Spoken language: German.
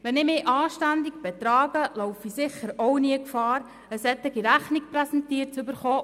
Wenn ich mich anständig verhalte, laufe ich sicher auch nie Gefahr, eine solche Rechnung präsentiert zu bekommen.